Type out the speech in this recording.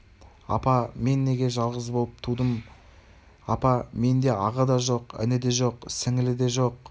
мен неге жалғыз болып тудым екен апа менде аға да жоқ іні де жоқ сіңлі де жоқ